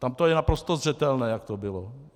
Tam to je naprosto zřetelné, jak to bylo.